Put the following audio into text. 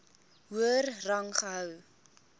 hoër rang gehou